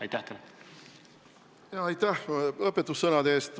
Aitäh õpetussõnade eest!